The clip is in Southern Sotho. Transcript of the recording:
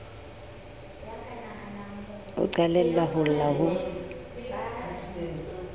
o qalella ho lla ho